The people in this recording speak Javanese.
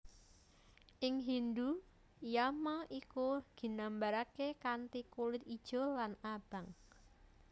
Ing Hindhu Yama iku ginambaraké kanthi kulit ijo lan abang